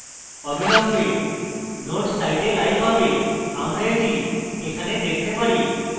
অবিলম্বে node site live হবে আমরা এটি এখানে দেখতে পারি